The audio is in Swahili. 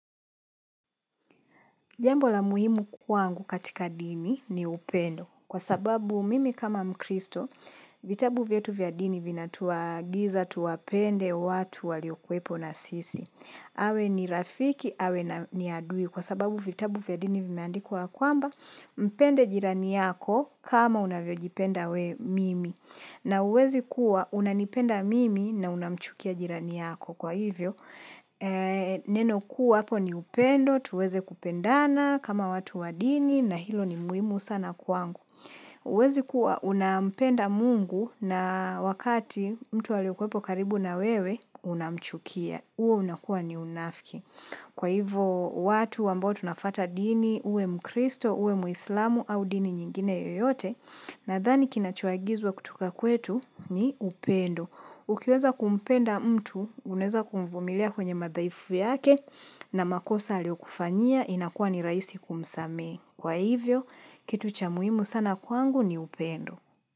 Jambo la muhimu kwangu katika dini ni upendo kwa sababu mimi kama mkristo vitabu vietu vyadini vina tuagiza, tuwapende, watu waliokwepo na sisi. Awe ni rafiki, awe ni adui kwa sababu vitabu vyadini vimeandikwa kwamba mpende jirani yako kama unavyojipenda we mimi. Na huwezi kuwa unanipenda mimi na unamchukia jirani yako. Kwa hivyo, neno kuwa hapo ni upendo, tuweze kupendana kama watu wa dini na hilo ni muhimu sana kwangu. Huwezi kuwa unampenda mungu na wakati mtu aliyekuwepo karibu na wewe unamchukia. Huo unakuwa ni unafki. Kwa hivyo watu ambao tunafuata dini, uwe mkristo, uwe muislamu au dini nyingine yoyote, nadhani kinachoagizwa kutoka kwetu ni upendo. Ukiweza kumpenda mtu, uneza kumvumilia kwenye madhaifu yake na makosa alio kufanyia inakuwa ni rahisi kumsamehe. Kwa hivyo, kitu cha muhimu sana kwangu ni upendo.